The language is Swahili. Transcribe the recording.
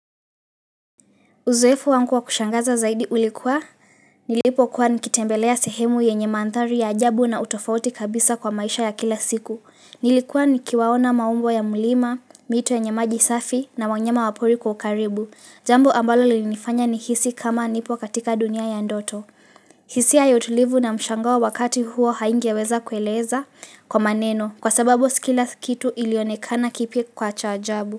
Uzoefu wangu wa kushangaza zaidi ulikuwa, nilipokuwa nikitembelea sehemu yenye mandhari ya ajabu na utofauti kabisa kwa maisha ya kila siku. Nilikuwa nikiwaona maumbo ya mlima, mito yenye maji safi na wanyama wa pori kwa ukaribu. Jambo ambalo lilinifanya nihisi kama nipo katika dunia ya ndoto. Hisia ya utulivu na mshangai wakati huo haingeweza kueleza kwa maneno, kwa sababu si kila kitu ilionekana kipi kwa cha ajabu.